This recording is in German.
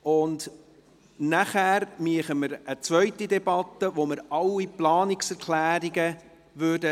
Anschliessend führen wir eine zweite Debatte durch, in der wir alle Planungserklärungen behandeln.